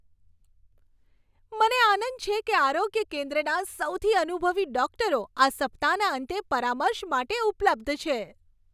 મને આનંદ છે કે આરોગ્ય કેન્દ્રના સૌથી અનુભવી ડોક્ટરો આ સપ્તાહના અંતે પરામર્શ માટે ઉપલબ્ધ છે.